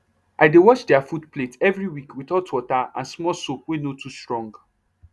i dey wash their food plate every week with hot water and small soap wey no too strong